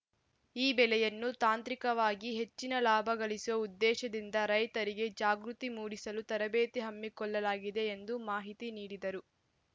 ಈ ಬೆಳೆಯನ್ನು ತಾಂತ್ರಿಕವಾಗಿ ಹೆಚ್ಚಿನ ಲಾಭ ಗಳಿಸುವ ಉದ್ದೇಶದಿಂದ ರೈತರಿಗೆ ಜಾಗೃತಿ ಮೂಡಿಸಲು ತರಬೇತಿ ಹಮ್ಮಿಕೊಳ್ಳಲಾಗಿದೆ ಎಂದು ಮಾಹಿತಿ ನೀಡಿದರು